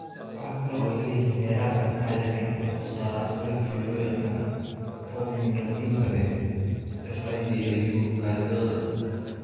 Waxa kale oo ay leeyihiin heerar aan caadi ahayn oo sare oo ah molecule loo yaqaan formiminoglutamate (FIGLU) kaadidooda.